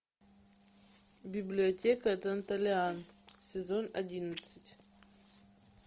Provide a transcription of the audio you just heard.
библиотека данталиан сезон одиннадцать